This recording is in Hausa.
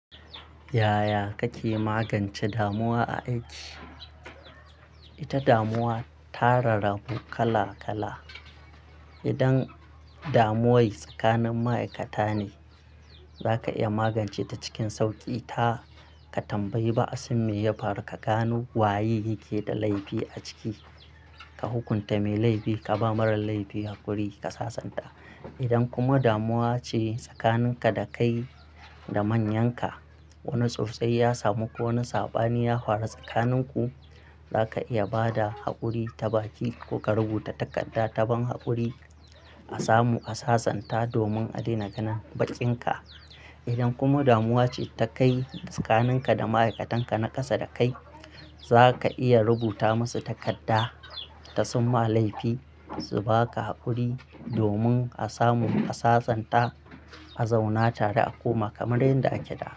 Yaya kake magance damuwa a aiki? Ita damuwa ta rarabu kala kala. Idan damuwar tsakanin ma'aikata ne, zaka iya magance ta cikin sauƙi. Ta ka tambayi ba'asin me ya faru, ka gano waye yake da laifi a ciki. Ka hukunta mai laifi, ka ba marar laifi hakuri, ka sassanta. Idan kuma damuwa ce tsakanin ka da kai da manyanka, wani tsautsayi ya samu ko wani saɓani ya faru tsakanin ku, zaka iya ba da haƙuri ta baki ko ka rubuta takarda ta ban haƙuri. A samu a sassanta domin a daina ganin bakinka. Idan kuma damuwa ce ta kai tsakanin ka da ma'aikatan ka na ƙasa da kai, za ka iya rubuta masu takarda ta summa laifi su ba ka haƙuri domin a samu a sassanta, a zauna tare a koma kamar yadda ake da.